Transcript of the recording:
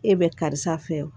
E bɛ karisa fɛ wo